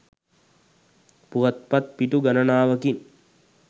පුවත්පත් පිටු ගණනාවකින්